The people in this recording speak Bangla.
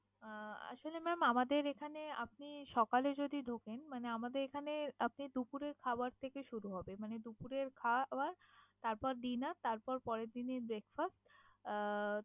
আহ আসলে mam আমাদের এখানে আপনি সকালে যদি ঢোকেন মানে আমাদের এখানে আপনি দুপুরের খাবার থেকে শুরু হবে। মানে দুপুরের খাওয়া তারপর dinner তারপর পরের দিনের breakfast আহ